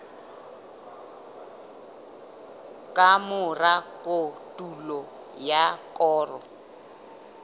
ka mora kotulo ya koro